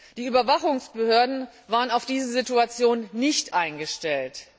Die Überwachungsbehörden waren auf diese Situation nicht eingestellt.